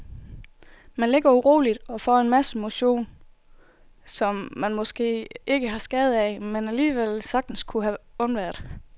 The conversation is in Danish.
Man ligger uroligt og får en masse motion, som man måske ikke har skade af, men alligevel sagtens kunne have undværet.